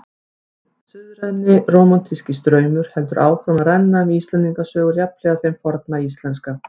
Hinn suðræni rómantíski straumur heldur áfram að renna um Íslendingasögur jafnhliða þeim forna íslenska.